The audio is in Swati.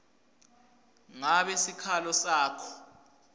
ngabe sikhalo sakho